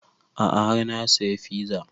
A'a har na saya fiza